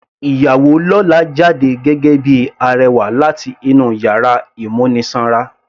Ìyàwó lọ́la jáde gẹ́gẹ́ bíi arẹwà láti inú yàrá ìmúnisanra.